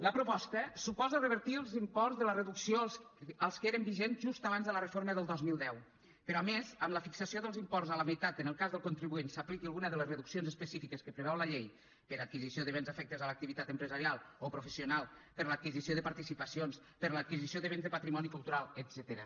la proposta suposa revertir els imports de la reducció als que eren vigents just abans de la reforma del dos mil deu però a més amb la fixació dels imports a la meitat en el cas que el contribuent s’apliqui alguna de les reduccions específiques que preveu la llei per adquisició de béns afectes a l’activitat empresarial o professional per l’adquisició de participacions per l’adquisició de béns de patrimoni cultural etcètera